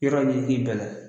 Yɔrɔ ɲini i k'i bɛlɛn